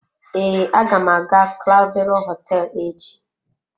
Ee, aga m aga clavero hoteelu echi.